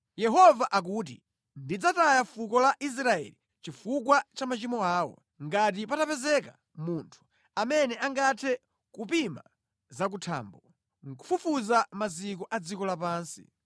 Yehova akuti, “Ndidzataya fuko la Israeli chifukwa cha machimo awo. Ngati patapezeka munthu amene angathe kupima zakuthambo nʼkufufuza maziko a dziko lapansi.”